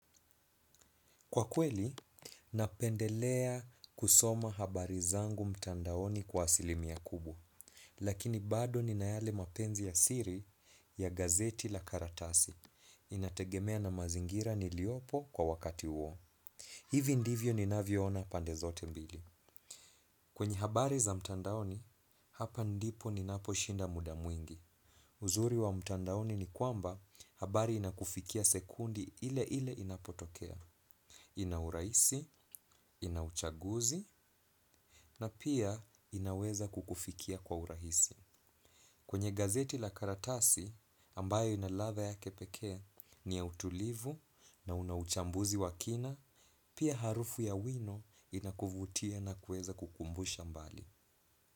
Kwa kweli, napendelea kusoma habari zangu mtandaoni kwa asilimia kubwa. Lakini bado nina yale mapenzi ya siri ya gazeti la karatasi. Inategemea na mazingira niliopo kwa wakati huo. Hivi ndivyo ninavyoona pande zote mbili. Kwenye habari za mtandaoni, hapa ndipo ninaposhinda muda mwingi. Uzuri wa mtandaoni ni kwamba habari inakufikia sekundi ile ile inapotokea. Ina urahisi, ina uchaguzi na pia inaweza kukufikia kwa urahisi. Kwenye gazeti la karatasi ambayo ina ladha yake pekee ni ya utulivu na una uchambuzi wa kina, pia harufu ya wino inakuvutia na kuweza kukumbusha mbali.